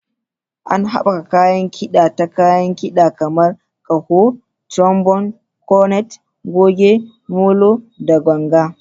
Ana haɓaka kayan kida ta kayan kida kamar ƙaho, trombone, cornet, goge, molo, da ganga.